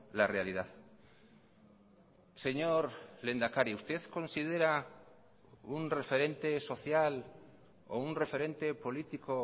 la realidad señor lehendakari usted considera un referente social o un referente político